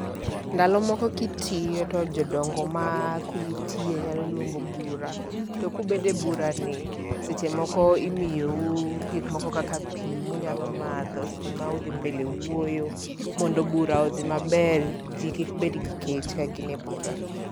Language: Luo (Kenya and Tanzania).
Ndalo moko kitiyo to jodongo ma kumitiye nyalo luongo bura. To kubede e bura ni, seche moko imiyou gik moko kaka pi munyalo madho seche ma udhi mbele wuoyo, mondo bura odhi maber, ji kik bed gi kech ka gin e bura.